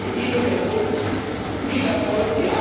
Ich wünsche ihnen und uns viel Erfolg.